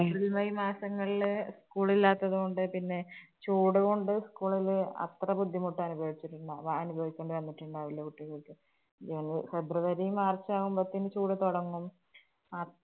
April, May മാസങ്ങൾല് school ഇല്ലാത്തത് കൊണ്ട് പിന്നെ ചൂട് കൊണ്ട് school ല് അത്ര ബുദ്ധിമുട്ട് അനുഭവിച്ചിട്ടുണ്ടാ~വാ അനുഭവിക്കേണ്ടി വന്നിട്ടുണ്ടാവില്ല കുട്ടികള്‍ക്ക്. അഹ് February, March ആവുമ്പോത്തേനും ചൂട് തൊടങ്ങും.